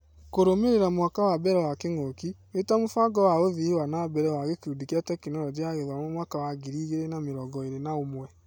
Kũrũmĩrĩra mwaka wa mbere wa kĩng'ũki, wĩta mũbango wa ũthii wa nambere wa gĩkundi kia Tekinoronjĩ ya Gĩthomo mwaka wa ngiri igĩrĩ na mĩrongo-ĩrĩ na ũmwe.